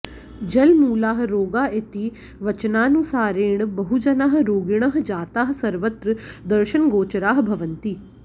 जलमूलाः रोगाः इति वचनानुसारेण बहुजनाः रोगिणः जाताः सर्वत्र दर्शनगोचराः भवन्ति